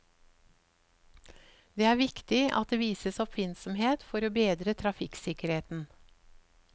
Det er viktig at det vises oppfinnsomhet for å bedre trafikksikkerheten.